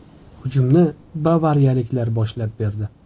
Hujumni bavariyaliklar boshlab berdi.